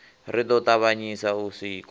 ri ḓo ṱavhanyisa u sikwa